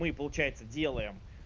мы получается делаем